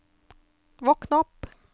våkn opp